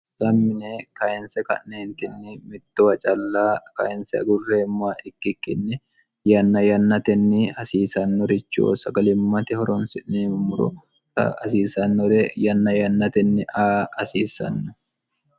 sammine kayinse ka'neentinni mittowa calla kayinse agurreemmoa ikkikkinni yanna yannatenni hasiisannorichiho sagalimmate horoonsi'neemummuro hasiisannore yanna yannatenni aa hasiisanno